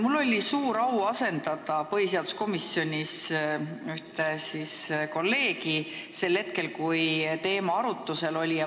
Mul oli suur au asendada põhiseaduskomisjonis ühte kolleegi sel ajal, kui see teema arutlusel oli.